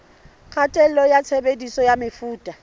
kgatello ya tshebediso ya mefuta